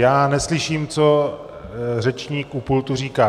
Já neslyším, co řečník u pultu říká.